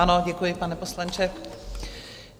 Ano, děkuji pane poslanče.